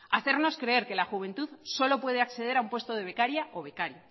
hacernos creer que la juventud solo puede acceder a un puesto de becaria o becario